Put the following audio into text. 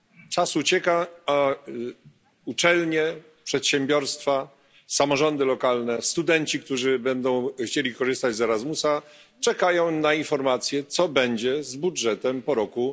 Czas ucieka, a uczelnie, przedsiębiorstwa, samorządy lokalne, studenci, którzy będą chcieli korzystać z Erasmusa, czekają na informacje, co będzie z budżetem po roku